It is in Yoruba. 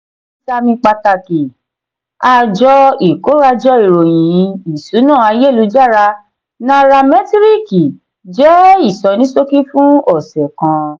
ìsàmì pàtàkì: àjọ ikorajo ìròyìn ìṣúná ayélujára náíràmetiriki jẹ ìsọníṣókí fún ọsẹ kan.